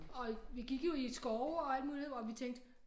Og vi gik jo i skove og alt muligt og vi tænkte